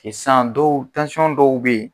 san dɔw dɔw bɛ yen